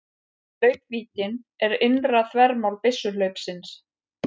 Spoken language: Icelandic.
Hlaupvíddin er innra þvermál byssuhlaupsins.